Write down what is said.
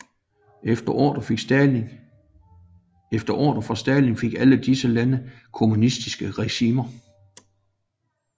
Efter ordre fra Stalin fik alle disse lande kommunistiske regimer